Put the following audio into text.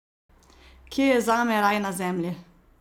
Kje je zame raj na Zemlji?